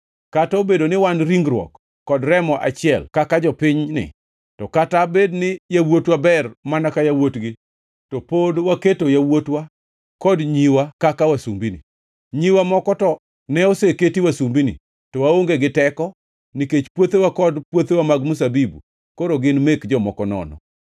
Kata obedo ni wan ringruok kod remo achiel kaka jopinyni to kata bed ni yawuotwa ber mana ka yawuotgi, to pod waketo yawuotwa kod nyiwa kaka wasumbini. Nyiwa moko to ne oseketi wasumbini, to waonge gi teko, nikech puothewa kod puothewa mag mzabibu koro gin mek jomoko nono.”